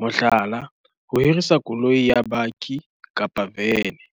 mohlala, ho hirisa koloi ya bakkie kapa vene.